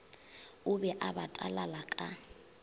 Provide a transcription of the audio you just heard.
o be a batalala ka